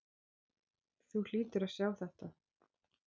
Þú hlýtur að sjá þetta.